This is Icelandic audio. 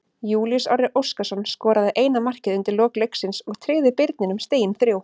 Júlíus Orri Óskarsson skoraði eina markið undir lok leiksins og tryggði Birninum stigin þrjú.